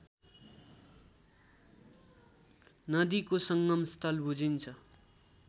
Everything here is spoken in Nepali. नदीको संगमस्थल बुझिन्छ